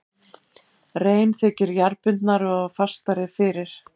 Rein þykir jarðbundnari og fastari fyrir.